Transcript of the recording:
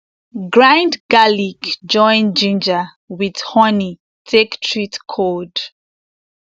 grind garlic join ginger with honey take treat cold